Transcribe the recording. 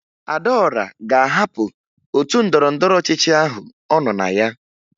Adaọra ga-ahapụ otu ndọrọndọrọ ọchịchị ahụ ọ nọ na ya